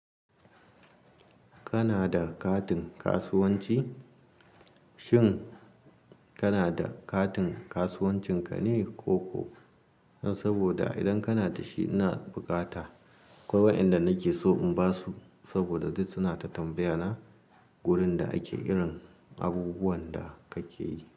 Kana da katin kasuwanci? Shin kana da katin kasuwancin ka ne ko ko? Saboda idan kana da shi, ina bukata. Kwai wa ƴanda nake so in basu saboda duk suna ta tambaya na wurin da ake irin abubuwan da kake yi.